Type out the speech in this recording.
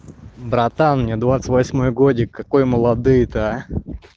братан мне двадцать восьмой годик какой молодые то а